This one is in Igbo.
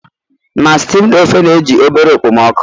Na steamed ofe na-eji obere okpomọkụ